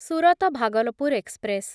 Surat Bhagalpur express